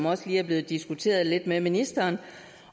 også lige er blevet diskuteret lidt med ministeren